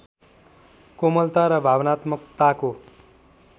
कोमलता र भावनात्मकताको